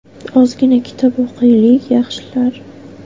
Ozgina kitob o‘qiylik, yaxshilar.